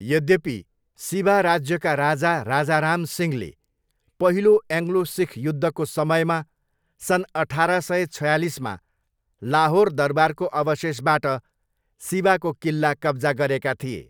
यद्यपि, सिबा राज्यका राजा राजा राम सिंहले पहिलो एङ्ग्लो सिख युद्धको समयमा सन् अठार सय छयालिसमा लाहोर दरबारको अवशेषबाट सिबाको किल्ला कब्जा गरेका थिए।